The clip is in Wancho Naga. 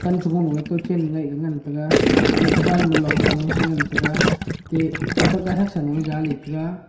pan chubong lewai kawchen ngaih le ngan taiga ateh kuban ba longsha loe tengan taiga ateh phunthak gathak jaley ngan taiga.